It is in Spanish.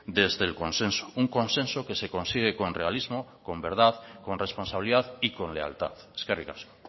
desde el consenso un consenso que se consigue con realismo con verdad con responsabilidad y con lealtad eskerrik asko